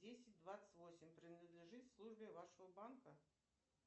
десять двадцать восемь принадлежит службе вашего банка